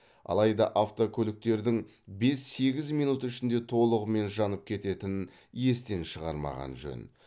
алайда автокөліктердің бес сегіз минут ішінде толығымен жанып кететінін естен шығармаған жөн